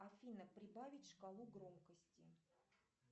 афина прибавить шкалу громкости